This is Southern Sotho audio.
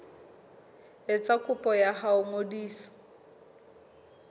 etsa kopo ya ho ngodisa